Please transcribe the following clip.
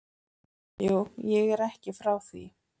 Jú, ég er ekki frá því.